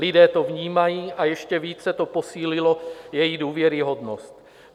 Lidé to vnímají a ještě více to posílilo její důvěryhodnost.